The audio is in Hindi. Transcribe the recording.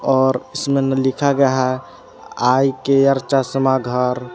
और इसमें लिखा है आई केयर चश्मा घर--